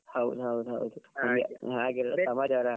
ಹೌದ್ ಹೌದ್ ಹೌದು ಹಾಗೆ ಹಾಗೆ ಮತ್ತೆ ಸಮಾಚಾರ .